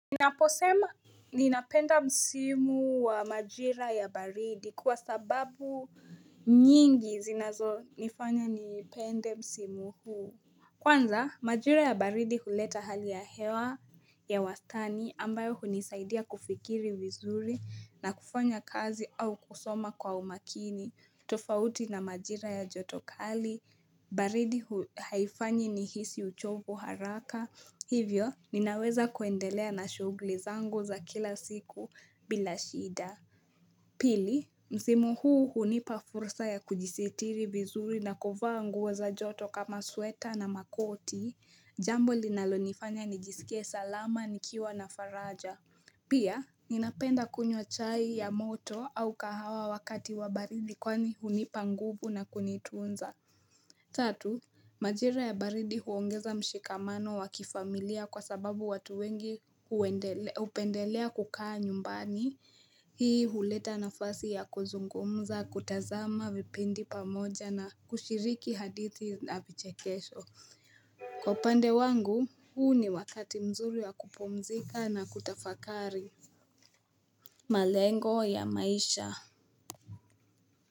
Naposema ninapenda msimu wa majira ya baridi kwa sababu nyingi zinazonifanya nipende msimu huu. Kwanza majira ya baridi huleta hali ya hewa ya wastani ambayo hunisaidia kufikiri vizuri na kufanya kazi au kusoma kwa umakini. Tofauti na majira ya joto kali, baridi haifanyi nihisi uchovu haraka. Hivyo, ninaweza kuendelea na shughuli zangu za kila siku bila shida. Pili, msimu huu hunipa fursa ya kujisitiri vizuri na kuvaa nguo za joto kama sweta na makoti. Jambo linalonifanya nijisikie salama nikiwa na faraja. Pia, ninapenda kunywa chai ya moto au kahawa wakati wa baridi kwani hunipa nguvu na kunitunza. Tatu, majira ya baridi huongeza mshikamano wa kifamilia kwa sababu watu wengi hupendelea kukaa nyumbani, hii huleta nafasi ya kuzungumza, kutazama vipindi pamoja na kushiriki hadithi na vichekesho. Kwa upande wangu, huu ni wakati mzuri wa kupumzika na kutafakari. Malengo ya maisha.